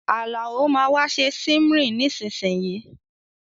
Àlàó máa wa se simmering nisínsìnyìí